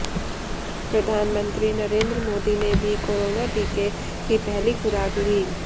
प्रधानमंत्री नरेंद्र मोदी ने भी कोरोना टीके की पहली खुराक ली